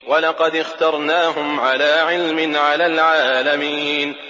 وَلَقَدِ اخْتَرْنَاهُمْ عَلَىٰ عِلْمٍ عَلَى الْعَالَمِينَ